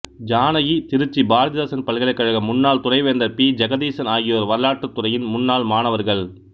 ஜானகி திருச்சி பாரதிதாசன் பல்கலைக்கழக முன்னாள் துணைவேந்தர் பி ஜெகதீசன் ஆகியோர் வரலாற்றுத் துறையின் முன்னாள் மாணவர்கள்